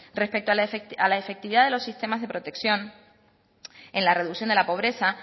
respecto a la efectividad de los sistemas de protección en la reducción de la pobreza